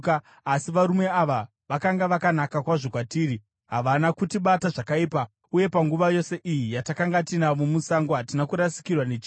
Asi varume ava vakanga vakanaka kwazvo kwatiri. Havana kutibata zvakaipa, uye panguva yose iyi yatakanga tinavo musango hatina kurasikirwa nechinhu.